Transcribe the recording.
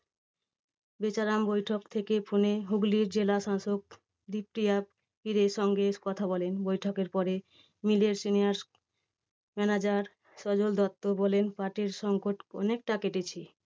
বেচারাম বৈঠক থেকে ফোনে হুগলির জেলা শাসক ডিপ্রিয়া পীরের সঙ্গে কথা বলেন। বৈঠকের পরে mill এর senior manager সজল দত্ত বলেন পাটের সংকট অনেকটা কেটেছে।